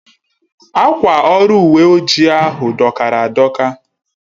Akwa ọrụ uwe ojii ahu dọkara adọka